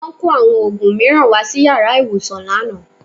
Wọ́n kó àwọn òògùn mìíràn wá sí yàrá ìwòsàn lánàá